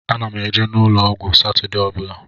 Ana m eje n'ụlọ ọgwụ Satọdee ọ bụla.